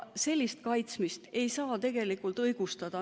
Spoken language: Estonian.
Sellist kaitsmist ei saa õigustada.